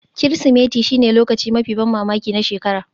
Kirsimeti shine lokacin mafi ban mamaki na shekara